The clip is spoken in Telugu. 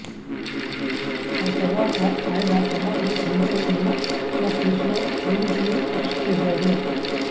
ఆ తర్వాత ఆయన కుమారుడు సంజయ్ ను ఓ కేసులో పోలీసులు అరెస్ట్ చేశారు